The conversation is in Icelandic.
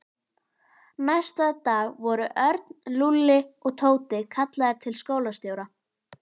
Næsta dag voru Örn, Lúlli og Tóti kallaðir til skólastjóra.